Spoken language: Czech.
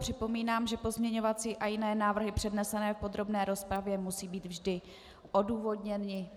Připomínám, že pozměňovací a jiné návrhy přednesené v podrobné rozpravě musí být vždy odůvodněny.